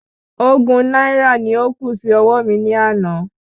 Ogún náírà ni ó kù sí ọwó mi ní àná